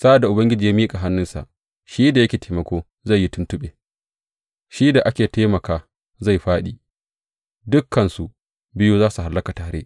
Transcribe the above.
Sa’ad da Ubangiji ya miƙa hannunsa, shi da yake taimako zai yi tuntuɓe shi da aka taimaka zai fāɗi; dukansu biyu za su hallaka tare.